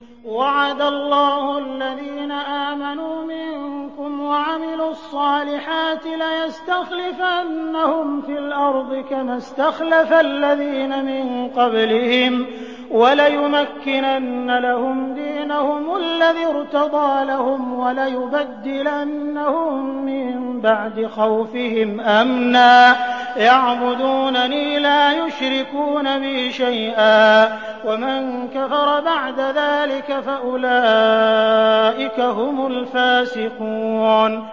وَعَدَ اللَّهُ الَّذِينَ آمَنُوا مِنكُمْ وَعَمِلُوا الصَّالِحَاتِ لَيَسْتَخْلِفَنَّهُمْ فِي الْأَرْضِ كَمَا اسْتَخْلَفَ الَّذِينَ مِن قَبْلِهِمْ وَلَيُمَكِّنَنَّ لَهُمْ دِينَهُمُ الَّذِي ارْتَضَىٰ لَهُمْ وَلَيُبَدِّلَنَّهُم مِّن بَعْدِ خَوْفِهِمْ أَمْنًا ۚ يَعْبُدُونَنِي لَا يُشْرِكُونَ بِي شَيْئًا ۚ وَمَن كَفَرَ بَعْدَ ذَٰلِكَ فَأُولَٰئِكَ هُمُ الْفَاسِقُونَ